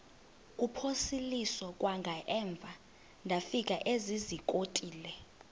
kuphosiliso kwangaemva ndafikezizikotile